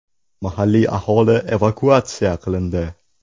Mahalliy aholi evakuatsiyasi e’lon qilindi.